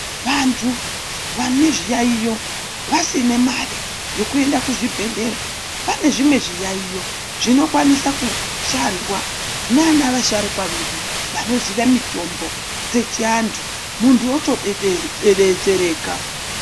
Vantu vane zviyayiyo vasine mari yekuenda kuzvibhedhlera pane zvimwe zviyayiyo zvinoshandwa nana vasharukwa vedu vanoziwe mitombo yechiantu muntu wotodetsereka.